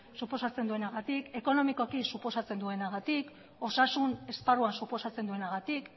suposatzen duenagatik ekonomikoki suposatzen duenagatik osasun esparruan suposatzen duenagatik